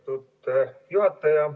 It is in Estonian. Lugupeetud juhataja!